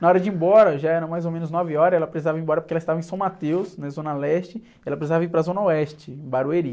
Na hora de ir embora, já era mais ou menos nove horas, ela precisava ir embora porque ela estava em São Mateus, na Zona Leste, e ela precisava ir para a Zona Oeste, Barueri.